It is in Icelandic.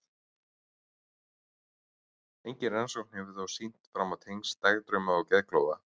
Engin rannsókn hefur þó sýnt fram á tengsl dagdrauma og geðklofa.